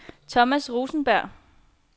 Thomas Rosenberg